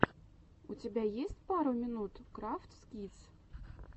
у тебя есть пять минут крафтс кидс